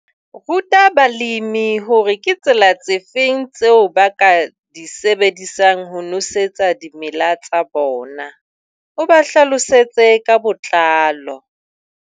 Ruta balemi hore ke tsela tse feng tseo ba ka di sebedisang ho nwesetsa dimela tsa bona. O ba hlalosetse ka botlalo.